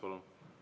Palun!